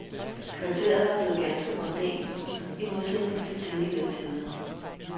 Kvarteret var blevet ganske mondænt nu i modsætning til tidligere tider.